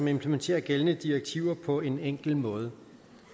implementerer gældende direktiver på en enkel måde